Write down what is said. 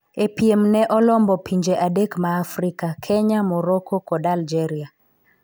E piem ne olombo pinje adek ma Afrika Kenya, Morrocco kod Algeria